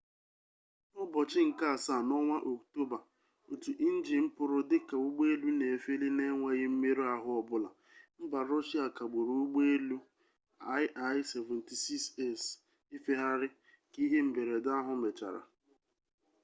n'ụbọchị nke asaa n'ọnwa oktoba otu njin pụrụ dịka ụgbọelu na-efeli n'enweghị mmerụ ahụ ọbụla mba rọshia kagburu ụgbọelu il-76s ifegharị ka ihe mberede ahụ mechara